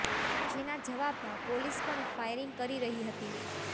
જેના જવાબમાં પોલીસ પણ ફાયરિંગ કરી રહી હતી